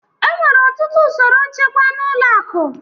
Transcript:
Enwere ọtụtụ usoro nchekwa na ụlọ akụ